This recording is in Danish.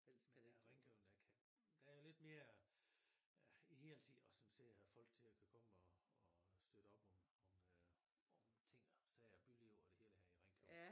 Men i Ringkøbing der kan der er lidt mere hele tid og som ser folk til og kan komme og og støtte op om om ting og sager byliv og det hele her i Ringkøbing